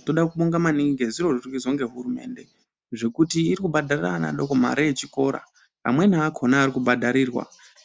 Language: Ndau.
Ndoda kubonga maningi ngezviro zviri kuizwa ngehurumende, zvekuti iri kubhadharira ana adoko mare yechikora, amweni akhona ari kubhadharirwa,